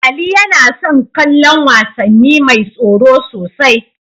Ali yana son kallon wasanni mai tsoro sosai.